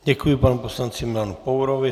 Děkuji panu poslanci Milanu Pourovi.